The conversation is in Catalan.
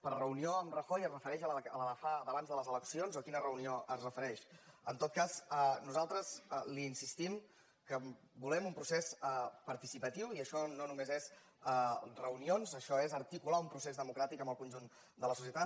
per reunió amb rajoy es refereix a la d’abans de les eleccions o a quina reunió es refereix en tot cas nosaltres li insistim que volem un procés participatiu i això no només són reunions això és articular un procés democràtic amb el conjunt de la societat